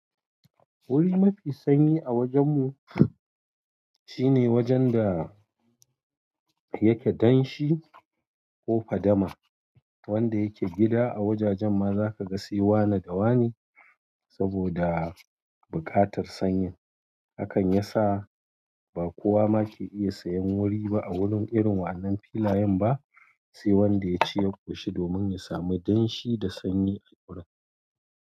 Wuri mafi sanyi a wajen mu shine wajen da yake danshi ko fadama. Wanda yake gida a wajajen ma zaka ga sai wane da wane saboda buƙatar sanyin. Hakan ya sa ba kowa ma ke iya sayen wuri ba a wurin irin wa'annan filayen ba, sai wanda ya ci ya koshi domin ya sami danshi da sanyi a gurin.